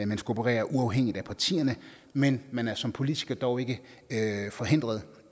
man skal operere uafhængigt af partierne men man er som politiker dog ikke forhindret